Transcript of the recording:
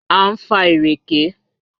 A ń fa ìrèké